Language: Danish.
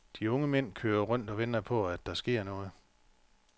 De unge mænd kører rundt og venter på at der sker noget.